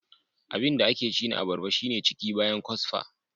Abinda ake ci na abarba shine ciki bayan kwasfa.